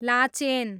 Lachen